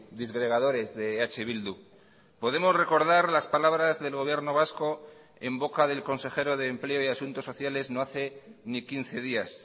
disgregadores de eh bildu podemos recordar las palabras del gobierno vasco en boca del consejero de empleo y asuntos sociales no hace ni quince días